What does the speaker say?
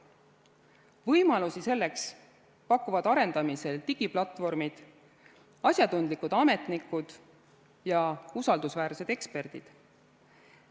Võimalusi selleks pakuvad arendamisel olevad digiplatvormid, asjatundlikud ametnikud ja usaldusväärsed eksperdid.